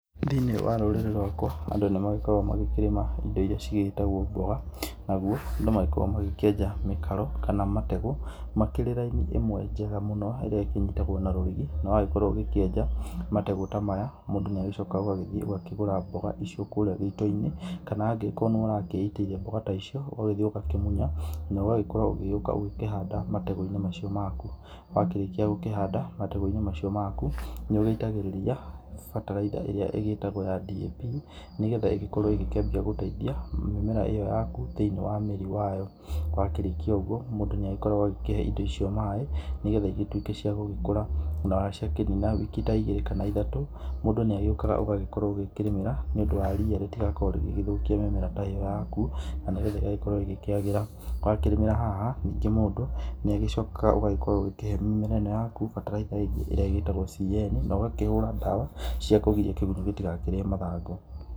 Thĩinĩ wa rũrĩrĩ rwakwa andũ nĩ magĩkoragwo makĩrĩma indo iria cigĩtagwo mboga. Naguo andũ magĩkoragwo magĩkĩenja mĩkaro kana mategũ makĩrĩ raini ĩmwe njega mũno ĩrĩa ĩkĩnyitagwo na rũrigi. Na wagĩkorwo ũgĩkĩenja mategũ ta maya mũndũ nĩ agĩcokaga ũgagĩthiĩ ũgakĩgũra mboga icio kũrĩa gĩito-ini kana angĩkorwo nĩ we ũrakĩitĩire mboga ta icio ũgagĩthiĩ ũgakĩmunya na ũgakorwo, na ũgakorwo ũgĩgĩũka gũkĩhanda mategũ-inĩ macio maku. Wakĩrĩkia gũkĩhanda mategũ-inĩ macio maku, nĩ ũgĩitagĩrĩria bataraitha ĩrĩa ĩgĩtagwo ya DAP. Nĩ getha ĩgĩkorwo ĩgĩkĩambia gũteithia mĩmera ĩyo yaku thĩinĩ wa mĩri wa yo. Wakĩrĩkia ũguo mũndũ nĩ agĩkoragwo agĩkĩhe indo icio maaĩ nĩ getha igĩtuĩke cia gũgĩkũra. Na ciakĩnina wiki ta igĩrĩ kana ithatũ mũndũ nĩ agĩũkaga ũgakorwo ũgĩkĩrĩmĩra, nĩ ũndũ wa ria rĩtigakorwo rĩgĩgĩthũkia mĩmera ĩyo yaku na nĩ getha ĩgagĩkorwo ĩgĩkĩagĩra. Wakĩrĩmĩra haha ningĩ mũndũ nĩagĩcokaga ũgagĩkorwo ũgĩkĩhe mĩmera ĩno yaku bataraitha ĩrĩa ĩgĩtagwo CN na ũgakĩhũra ndawa cia kũgiria kĩgunyũ gĩtigakĩrĩe mathangũ.